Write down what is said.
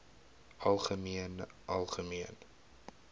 algemeen algemeen